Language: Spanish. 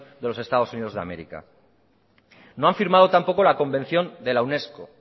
de los estados unidos de américa no han firmado tampoco la convención de la unesco